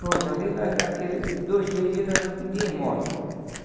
Pronto, ali, nós naqueles dois, três dias, nós não pedíamos mola.